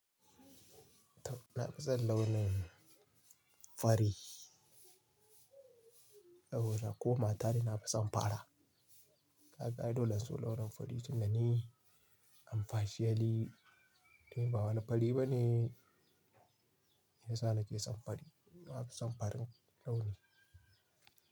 Na fi son launin fari, saboda ko mata na fi son fara. Ka ga ai dole in so launin fari tun da ni, am partially ni ba wani fari bane, shiyasa na ke son fari na fi son farin launi.